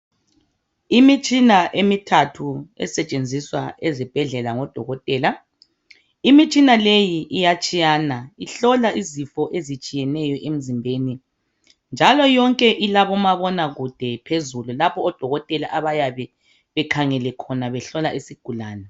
Imitshina emithathu esetshenziswa ezibhedlela ngodokotela. Imitshina leyi iyatshiyana ihlola izifo ezitshiyeneyo emzimbeni, njalo yonke ilabomabonakude phezulu lapho odokotela abayabe bekhangele khona behlola isigulane.